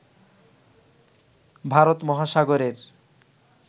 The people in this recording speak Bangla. ভারত মহাসাগরের